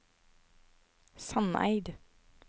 Sandeid